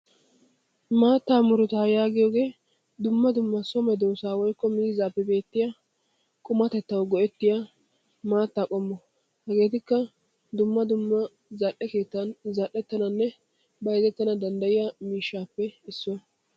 Maattaa murutaa yaagiyoge dumma dumma miizzaa woyikko so medoossaappe beettiya qumatettawu go'ettiya maattaa qommo. Hegeetikka dumma dumma keettan zal'etananne bayizettana danddayiya miishshaappe issuwa.